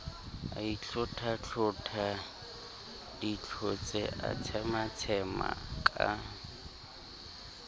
aitlhothatlhotha ditlhotse a tshematshema ka